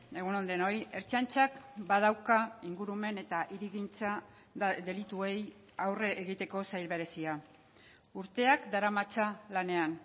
egun on denoi ertzaintzak badauka ingurumen eta hirigintza delituei aurre egiteko sail berezia urteak daramatza lanean